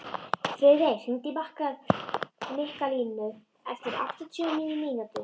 Friðey, hringdu í Mikkalínu eftir áttatíu og níu mínútur.